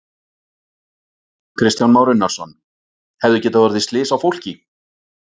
Kristján Már Unnarsson: Hefðu getað orðið slys á fólki?